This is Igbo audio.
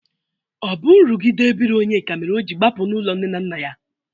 Ọ bụ nrụghide ebiri Onyeka mere o ji gbapụ n'ụlọ nne na nna ya?